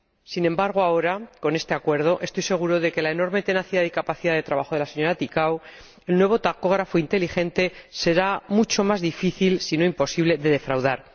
Sin embargo ahora, con este acuerdo ―estoy segura de la enorme tenacidad y capacidad de trabajo de la señora Ţicău―, con el nuevo tacógrafo inteligente, será mucho más difícil, si no imposible, defraudar.